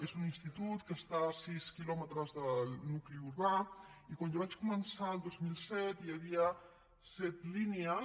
és un institut que està a sis quilòmetres del nucli urbà i quan jo vaig començar el dos mil set hi havia set línies